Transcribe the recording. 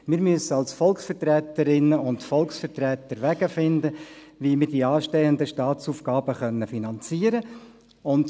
Wir müssen als Volksvertreterinnen und Volksvertreter Wege finden, wie wir die anstehenden Staatsaufgaben finanzieren können.